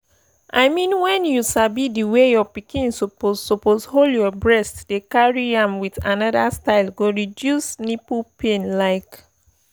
i mean when you sabi the way your pikin suppose suppose hold your breast by carrying am with another style go reduce nipple pain like